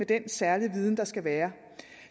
den særlige viden der skal være